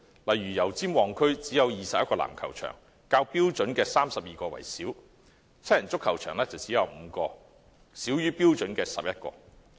例如油尖旺區只有21個籃球場，少於標準的32個；七人足球場只有5個，少於標準的11個。